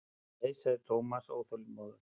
Nei sagði Thomas óþolinmóður.